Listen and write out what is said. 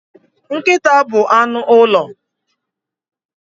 Nkịta bụ anụ ụlọ.